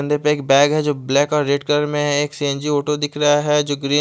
बन्दे पे एक बैग है जो ब्लैक और रेड कलर में है एक सी_एन_जी ऑटो दिखरा है जो ग्री --